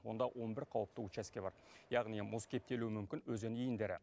онда он бір қауіпті учаске бар яғни мұз кептелуі мүмкін өзен иіндері